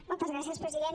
moltes gràcies president